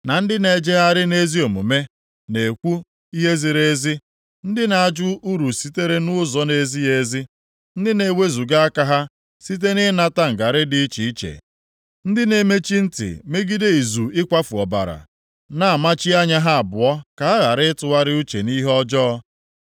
Ndị na-ejegharị nʼezi omume na-ekwu ihe ziri ezi, ndị na-ajụ uru sitere nʼụzọ nʼezighị ezi, ndị na-ewezuga aka ha site na ịnata ngarị dị iche iche, ndị na-emechi ntị megide izu ịkwafu ọbara, na-amụchi anya ha abụọ ka ha ghara ịtụgharị uche nʼihe ọjọọ.